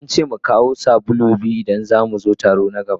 An ce mu kawo sabulu biyu idan za mu zo taro na gaba.